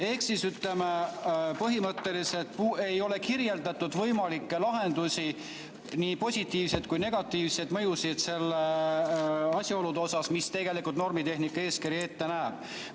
Ehk siis põhimõtteliselt ei ole kirjeldatud võimalikke lahendusi, ei positiivseid ega negatiivseid mõjusid, mida tegelikult normitehnika eeskiri ette näeb.